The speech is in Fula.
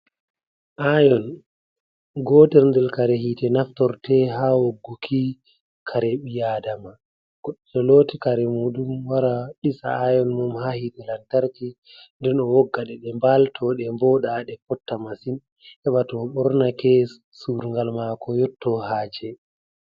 Ayon, gotel nder kare hite naftorte ha wogguki kare ɓi adama. Goɗɗo to looti kare muɗum, wara ɗisa ayon mum ha hite lamtarki, nden o wogga ɗe, ɗe mbalto, ɗe vooɗa, ɗe fotta masin. Heɓa to o ɓornake, surungal mako yottoo haaje.